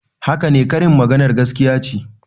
Haka ne, karin maganar gaskiya ce.